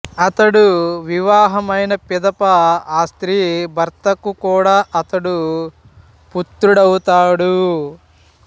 అతడు వివాహము అయిన పిదప ఆ స్త్రీ భర్తకు కూడా అతడు పుత్రుడు ఔతాడు